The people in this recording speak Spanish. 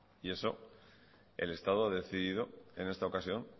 y eso el estado ha decidido en esta ocasión